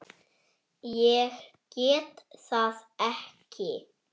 Ég get það ekki